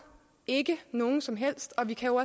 ikke nogen som helst og vi kan jo